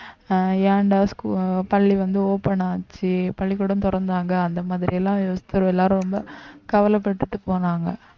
அஹ் ஏன்டா scho~ பள்ளி வந்து open ஆச்சு பள்ளிக்கூடம் திறந்தாங்க அந்த மாதிரி எல்லாம் எல்லாரும் ரொம்ப கவலைப்பட்டுட்டு போனாங்க